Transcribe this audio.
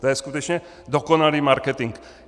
To je skutečně dokonalý marketing.